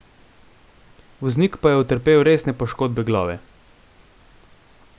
voznik pa je utrpel resne poškodbe glave